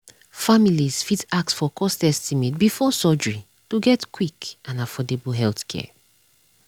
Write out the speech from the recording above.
families fit ask for cost estimate before surgery to get quick and affordable healthcare.